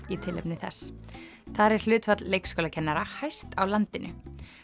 í tilefni þess þar er hlutfall leikskólakennara hæst á landinu